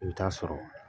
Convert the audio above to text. I bɛ taa sɔrɔ